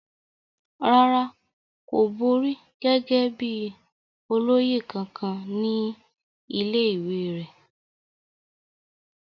rárá, kò borí gẹ́gẹ́ bíi olóyè kankan ní ilé ìwé rẹ̀